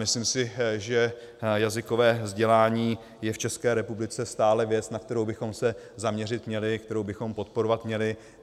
Myslím si, že jazykové vzdělání je v České republice stále věc, na kterou bychom se zaměřit měli, kterou bychom podporovat měli.